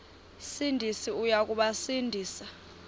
sindisi uya kubasindisa